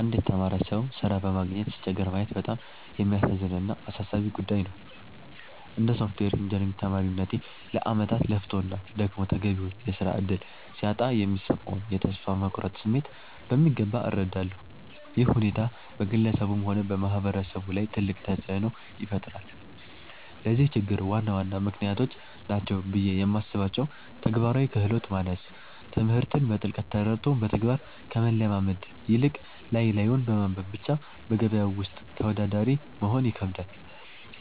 አንድ የተማረ ሰው ሥራ በማግኘት ሲቸገር ማየት በጣም የሚያሳዝን እና አሳሳቢ ጉዳይ ነው። እንደ ሶፍትዌር ኢንጂነሪንግ ተማሪነቴ፣ ለዓመታት ለፍቶና ደክሞ ተገቢውን የሥራ ዕድል ሲያጣ የሚሰማውን የተስፋ መቁረጥ ስሜት በሚገባ እረዳለሁ። ይህ ሁኔታ በግለሰቡም ሆነ በማህበረሰቡ ላይ ትልቅ ተጽዕኖ ይፈጥራል። ለዚህ ችግር ዋና ዋና ምክንያቶች ናቸው ብዬ የማስባቸው፦ ተግባራዊ ክህሎት ማነስ፦ ትምህርትን በጥልቀት ተረድቶ በተግባር ከመለማመድ ይልቅ፣ ላይ ላዩን በማንበብ ብቻ በገበያው ውስጥ ተወዳዳሪ መሆን ይከብዳል።